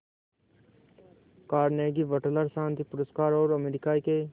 Carnegie Wateler शांति पुरस्कार और अमेरिका के